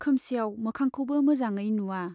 खोमसियाव मोखांखौबो मोजाङै नुवा।